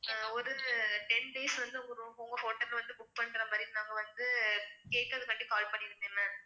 ஒரு ten days வந்து உங்க room உங்க hotel வந்து book பண்ணறமாரி நாங்க வந்து கேக்கறதுக்காண்டி call பன்னிருந்தேன் ma'am